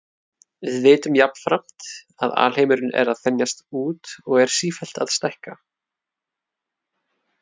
Við vitum jafnframt að alheimurinn er að þenjast út og er því sífellt að stækka.